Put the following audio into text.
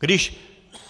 Když